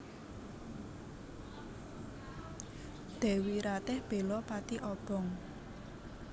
Dèwi Ratih bela pati obong